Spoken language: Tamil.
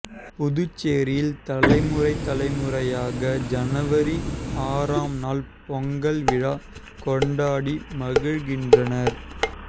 புதுச்சேரியில் தலைமுறை தலைமுறையாக ஜனவரி ஆறாம் நாள் பொங்கல் விழா கொண்டாடி மகிழ்கின்றனர்